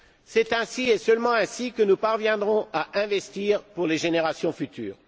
C'est ainsi, et seulement ainsi, que nous parviendrons à investir pour les générations futures.